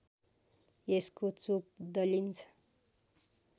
यसको चोप दलिन्छ